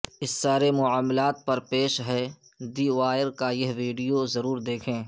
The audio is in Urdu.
اس سارے معاملے پر پیش ہے دی وائیر کا یہ ویڈیو ضرور دیکھیں